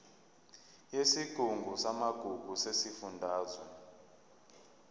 yesigungu samagugu sesifundazwe